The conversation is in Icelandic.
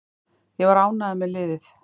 Ég var ánægður með liðið.